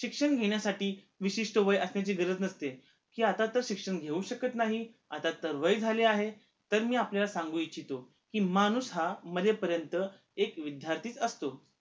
शिक्षण घेण्यासाठी विशीष्ट वय असण्याची गरज नसते कि आत्ता तर शिक्षण घेऊ शकत नाही आत्ता तर वय झाले आहे तर मी आपल्याला सांगू इच्छितो कि माणूस हा मरेपर्यन्त एक विद्देर्थी च असतो